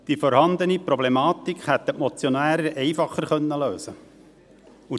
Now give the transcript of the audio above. Die vorhandene Problematik hätten die Motionäre einfacher lösen können.